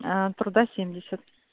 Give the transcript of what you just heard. труда семьдесят